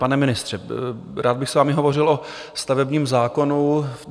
Pane ministře, rád bych s vámi hovořil o stavebním zákonu.